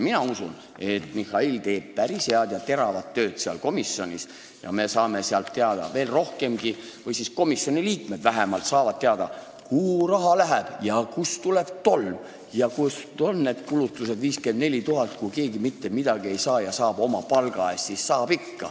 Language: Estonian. Mina usun, et Mihhail teeb päris head ja teravat tööd seal komisjonis ning me saame sealt teada veel rohkemgi või siis vähemalt komisjoni liikmed saavad teada, kuhu raha läheb ja kust tuleb tolm ja kuhu on läinud need 54 000, kui keegi mitte mingit raha ei saa ja töötab oma palga eest.